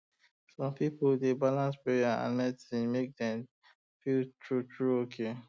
some people dey balance prayer and medicine make dem feel truly truly okay